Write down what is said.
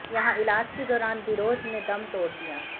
यहां इलाज के दौरान बिरोज ने दम तोड़ दिया